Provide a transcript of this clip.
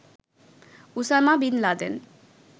Osama bin Laden